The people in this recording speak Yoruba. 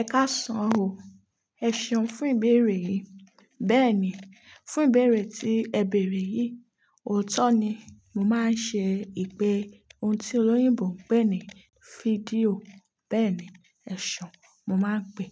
Ẹ káàsán o. E ṣeun fún ìbéèrè yìí. Bẹ́ẹ̀ni, fún ìbéèrè tí ẹ bèrè yìí, òótọ́ ni mo máa ń ṣe ìpè ohun tí olóyìnbo pè ní fídíò. Bẹ́ẹ̀ni, ẹ̀ ṣeun mo máa ń pé